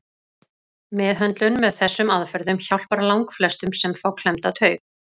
Meðhöndlun með þessum aðferðum hjálpar langflestum sem fá klemmda taug.